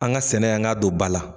An ga sɛnɛ an ga don ba la